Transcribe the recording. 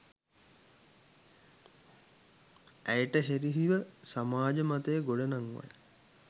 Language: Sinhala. ඇයට එරෙහිව සමාජ මතය ගොඩනංවයි